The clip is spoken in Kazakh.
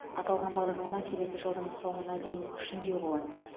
аталған бағдарлама келесі жылдың соңына дейін күшінде болады